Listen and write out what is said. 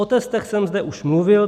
O testech jsem zde už mluvil.